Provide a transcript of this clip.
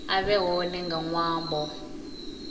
a vhe hone nga ṅwambo